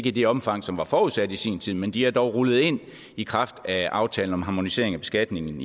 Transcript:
i det omfang som var forudsat i sin tid men de er dog rullet ind i kraft af aftalen om harmonisering af beskatningen